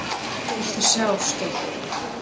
Viltu sjá, Skjöldur!